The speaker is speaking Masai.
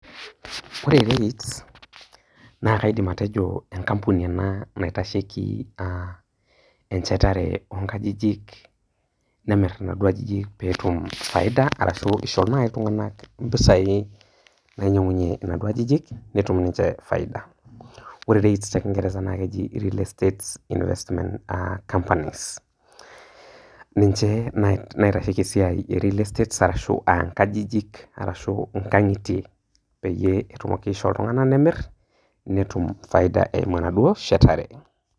Ore REITs naa kaidim atejo enkampuni ena naitasheiki enchetare oonkajijik , nemir inaduo ajijik pee etum faida arashu isho naji iltunganak mpisai nainyiangunyie inaduo ajijik ,netum ninche faida. Ore REITs naa keji te nkingeresa naa keji real estate investment companies . Ninche naitasheiki esiai nchetare oonkajijik arashu nkangitie peyie etumoki aisho iltunganak nemir netum faida eimu enaduoo shetare.